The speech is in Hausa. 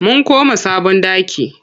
Mun koma sabon ɗaki.